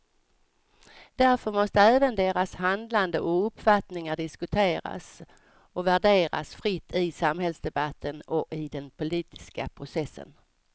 Därför måste även deras handlande och uppfattningar diskuteras och värderas fritt i samhällsdebatten och i den politiska processen.